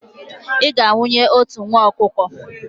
ị ga-anwụnye otu nwa ọkụkọ?